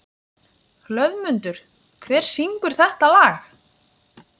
Hlöðmundur, hver syngur þetta lag?